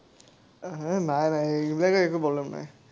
হে, নাই নাই, সেইবিলাকৰ একো problem নাই।